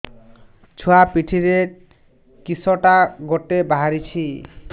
ଛୁଆ ପିଠିରେ କିଶଟା ଗୋଟେ ବାହାରିଛି